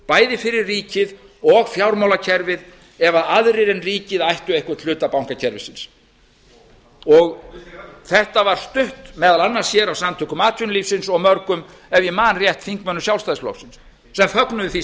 bæði fyrir ríkið og fjármálakerfið ef aðrir en ríkið ættu einhvern hluta bankakerfisins þetta var stutt meðal annars af samtökum atvinnulífsins og mörgum ef ég man rétt þingmönnum sjálfstæðisflokksins sem fögnuðu því